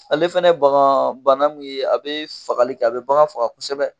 Ale fɛnɛ bagaan bana mun ye a be fagali kɛ, a bɛ bagan faga kosɛbɛ.